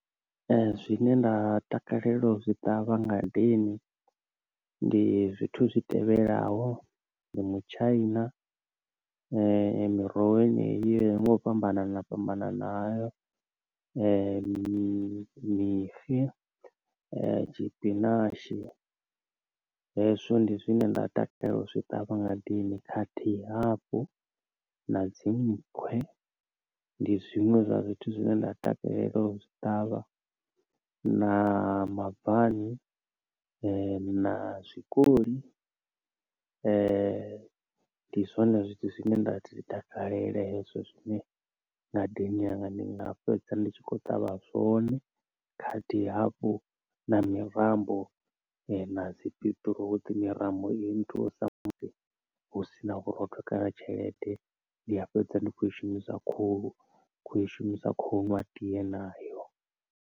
Zwine nda takalela zwi ṱavha ngadeni ndi zwithu zwi tevhelaho, ndi mutshaina, miroho yeneyi nga u fhambanana fhambanana hayo, mi mixe, tshipinashi. Hezwo ndi zwine nda takalela u zwi ṱavha ngadeni khathihi hafhu na dzi nnkhwe, ndi zwiṅwe zwa zwithu zwine nda takalela u zwi ṱavha, na mabvani na zwikoli ndi zwone zwithu zwine nda zwi takalela hezwo zwine ngadeni yanga ndi nga fhedza ndi tshi khou ṱavha zwone, khathihi hafhu na mirambo na dzi biṱiruṱi, mirambo i nthusa musi hu sina vhurotho kana tshelede ndi a fhedza ndi khou i shumisa khohu kho i shumisa khou nwa tiye nayo.